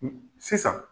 Sisan